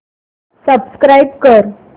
subscribe कर